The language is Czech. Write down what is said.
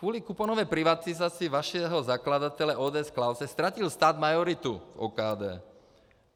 Kvůli kuponové privatizaci vašeho zakladatele ODS Klause ztratil stát majoritu v OKD.